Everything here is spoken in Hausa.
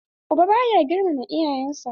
Uba ba ya girmama iyayen sa.